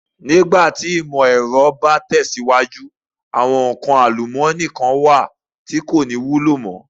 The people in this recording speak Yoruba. Nígbà tí ìmò ẹ̀rọ bá tẹ̀síwájú, àwọn nǹkan àlùmọ́ọ́nì kán wà tí kò ní wúlò mo.